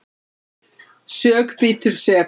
Sök bítur sekan.